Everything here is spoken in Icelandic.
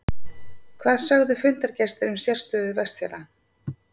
En hvað sögðu fundargestir um sérstöðu Vestfjarða?